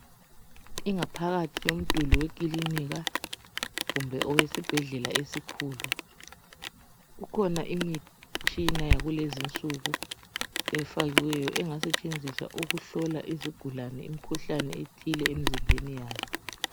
Ingaphakathi yomduli wekilinika kumbe owesibhedlela esikhulu kukhona imitshina yakulezinsuku efakiweyo engasetshenziswa ukuhlola izigulane imikhuhlane ethile emzimbeni yazo.